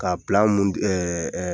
K'a mun ɛɛ